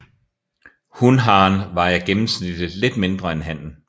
Hunharen vejer gennemsnitlig lidt mindre end hannen